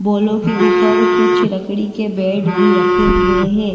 Bowler के ऊपर कुछ लकड़ी के बेड भी रखे हुए हैं।